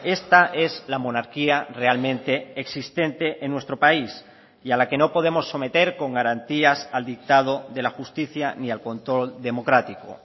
esta es la monarquía realmente existente en nuestro país y a la que no podemos someter con garantías al dictado de la justicia ni al control democrático